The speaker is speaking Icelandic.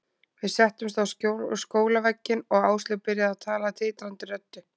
Við settumst á skólavegginn og Áslaug byrjaði að tala titrandi röddu.